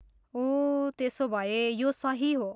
ओह, त्यसोभए यो सही हो।